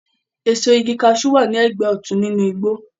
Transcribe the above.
Èso igi kaṣú wà ní ẹgbẹ́ òtún nínú igbó